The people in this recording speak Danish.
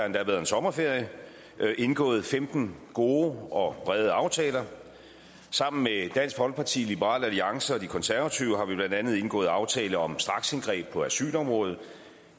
endda været sommerferie indgået femten gode og brede aftaler sammen med dansk folkeparti liberal alliance og de konservative har vi blandt andet indgået aftale om straksindgreb på asylområdet